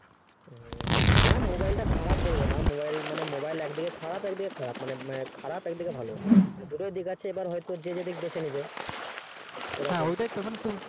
হু mobile টা খারাপ বলবোনা mobile মানে mobile একদিকে খারাপ একদিকে ভালো দুটোই দিক আছে এবার হয়তো যে যেইদিক বেঁচে নেবে হ্যাঁ ঐটাই তো